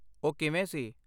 ਉਹ ਕਿਵੇਂ ਸੀ?